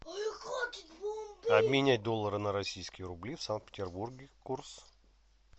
обменять доллары на российские рубли в санкт петербурге курс